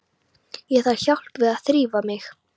Ég þarf hjálp við að þrífa mig.